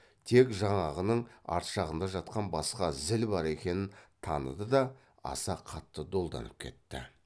тек жаңағының ар жағында жатқан басқа зіл бар екенін таныды да аса қатты долданып кетті